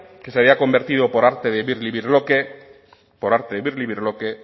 que se había convertido por arte de birlibirloque por arte de birlibirloque